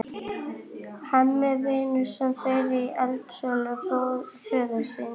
Hemmi vinnur sem fyrr í heildsölu föður síns.